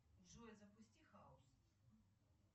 джой запусти хаус